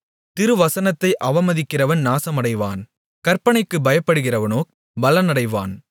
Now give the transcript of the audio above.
திருவசனத்தை அவமதிக்கிறவன் நாசமடைவான் கற்பனைக்குப் பயப்படுகிறவனோ பலனடைவான்